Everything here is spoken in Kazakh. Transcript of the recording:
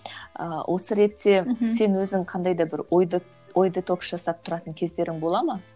ыыы осы ретте сен өзің қандай да бір ой детокс жасап тұратын кездерің бола ма